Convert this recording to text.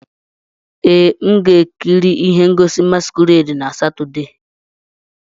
Ee, m ga-ekiri ihe ngosi masquerade na Satọde.